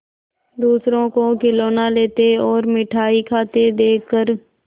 दूसरों को खिलौना लेते और मिठाई खाते देखकर